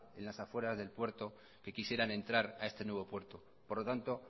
en las afueras del puerto que quisieran entrar a este nuevo puerto por lo tanto